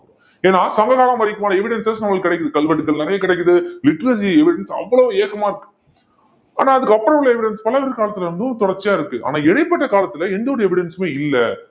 ஏன்னா சங்ககாலம் வரைக்குமான evidences நம்மளுக்கு கிடைக்குது கல்வெட்டுகள் நிறைய கிடைக்குது literary evidence அவ்வளவு ஏக்கமா இருக்கு ஆனா அதுக்கப்புறம் உள்ள evidence பல்லவர் காலத்துல இருந்தும் தொடர்ச்சியா இருக்கு ஆன இடைப்பட்ட காலத்துல எந்த ஒரு evidence மே இல்லை